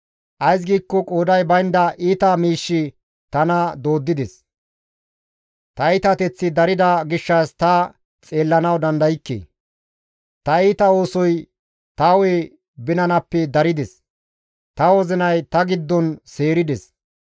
Ays giikko qooday baynda iita miishshi tana dooddides; ta iitateththi darida gishshas ta xeellanawu dandaykke. Ta iita oosoy ta hu7e binanappe darides; ta wozinay ta giddon seerides.